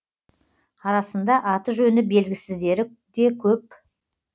арасында аты жөні белгісіздері де көп